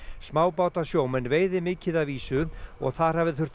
smábátasjómenn veiði mikið af ýsu og þar hafi þurft